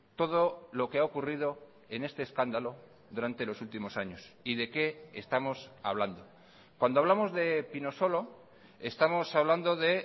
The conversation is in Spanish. todo lo que ha ocurrido en este escándalo durante los últimos años y de qué estamos hablando cuando hablamos de pinosolo estamos hablando de